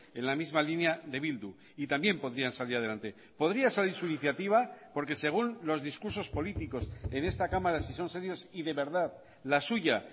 en la misma línea de bildu y también podrían salir adelante podría salir su iniciativa porque según los discursos políticos en esta cámara si son serios y de verdad la suya